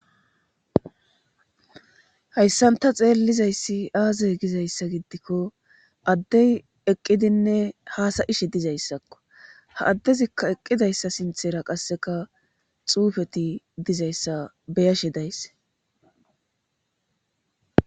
Hayssanta xeellizayssi aazey gizayssa giddikko addey eqqidinne haasayishe dizayssakko ha addezikka eqqidayssa sinthera qasseka xuufeti dizayssa beyashe daysse